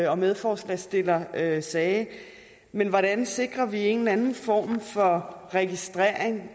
og medforslagsstiller sagde sagde men hvordan sikrer vi en eller anden form for registrering